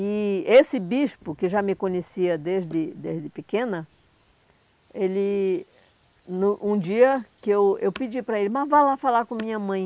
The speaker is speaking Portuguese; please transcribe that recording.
E esse bispo, que já me conhecia desde desde pequena ele, no um dia que eu eu pedi para ele, mas vá lá falar com a minha mãe.